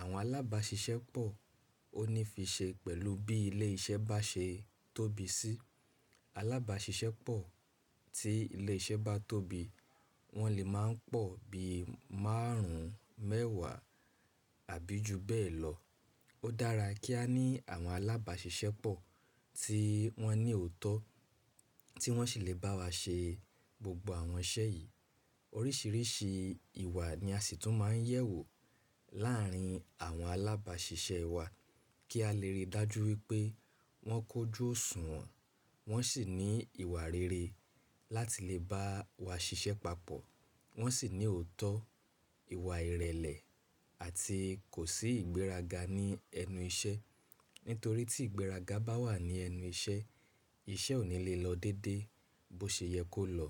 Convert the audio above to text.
Àwọn alábàáṣiṣẹ́pọ̀ ó ní fi ṣe pẹ̀lú bí ilé iṣẹ́ bá ṣe tóbi sí. Alábàáṣiṣẹ́pọ̀ tí ilé iṣẹ́ bá tóbi, wọ́n lè máa ń pọ̀ bí márùn ún mẹ́wàá àbí ju bẹ́ẹ̀ lọ. Ó dára kí a ní àwọn alábàáṣiṣẹ́pọ̀ tí wọ́n ní òótọ́, tí wọ́n sì lè bá wa ṣe gbogbo àwọn iṣẹ́ yìí. Oríṣìíríṣìí ìwà ni a sì tún máa ń yẹ̀wò láàárín àwọn alábàáṣiṣẹ́ wa kí a lè rí i dájú wípé wọ́n kójú òṣùwọ̀n, wọ́n sì ní ìwà rere láti lè bá wa ṣiṣẹ́ papọ̀. Wọ́n sì ní òótọ́, ìwà ìrẹ̀lẹ̀ àti kò sí ìgbéraga ní ẹnu iṣẹ́. Nítorí tí ìgbéraga bá wà ní ẹnu iṣẹ́, iṣẹ́ ò ní lè lọ dédé bó ṣe yẹ kó lọ.